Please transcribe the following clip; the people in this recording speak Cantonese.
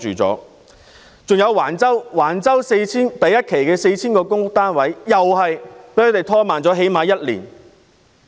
此外，興建橫洲第一期 4,000 個公屋單位的進度被拖慢了最少1年。